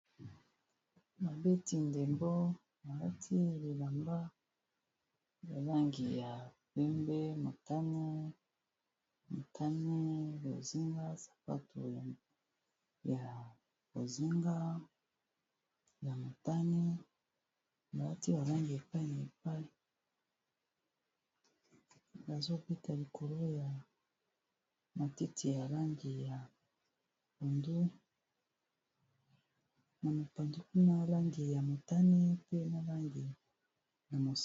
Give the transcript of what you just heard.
Babeti ndembo balati bilamba ya langi ya pembe ,motane, motane , bozinga, sapatu ya bozinga ,ya motane balati ba langi epayi n'a epayi bazobeta likolo ya matiti ya langi ya pondu